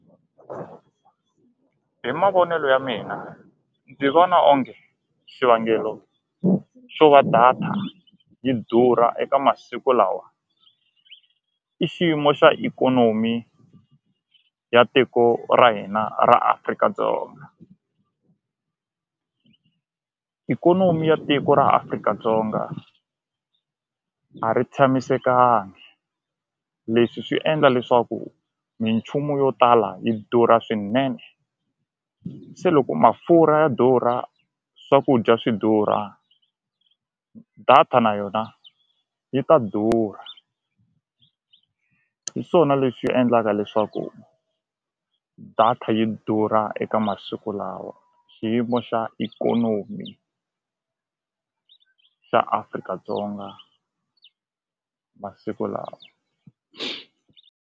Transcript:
Hi mavonelo ya mina ndzi vona onge xivangelo xo va data yi durha eka masiku lawa i xiyimo xa ikhonomi ya tiko ra hina ra Afrika-Dzonga i ikhonomi ya tiko ra Afrika-Dzonga a ri tshamisekanga leswi swi endla leswaku minchumu yo tala yi durha swinene se loko mafurha ya durha swakudya swi durha data na yona yi ta durha hi swona leswi endlaka leswaku data yi durha eka masiku lawa xiyimo xa ikhonomi xa Afrika-Dzonga masiku lawa.